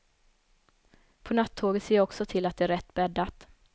På nattåget ser jag också till att det är rätt bäddat.